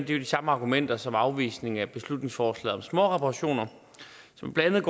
jo de samme argumenter som ved afvisningen af beslutningsforslaget om småreparationer som blandt